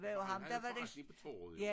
Han havde forretning på torvet jo